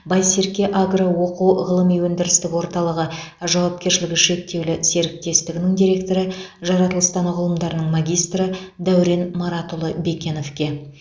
байсерке агро оқу ғылыми өндірістік орталығы жауапкершілігі шектеулі серіктестігінің директоры жаратылыстану ғылымдарының магистрі дәурен маратұлы бекеновке